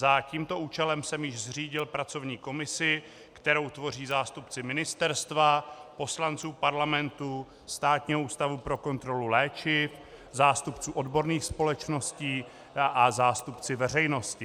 Za tímto účelem jsem již zřídil pracovní komisi, kterou tvoří zástupci ministerstva, poslanců Parlamentu, Státního ústavu pro kontrolu léčiv, zástupci odborných společností a zástupci veřejnosti.